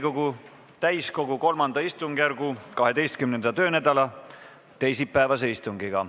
Alustame täiskogu III istungjärgu 12. töönädala teisipäevast istungit.